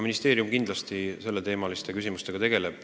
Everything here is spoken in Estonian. Ministeerium kindlasti selle küsimusega tegeleb.